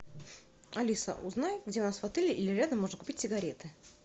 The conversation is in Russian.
алиса узнай где у нас в отеле или рядом можно купить сигареты